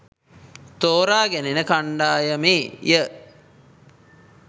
තෝරා ගැනෙන කණ්ඩායමේය.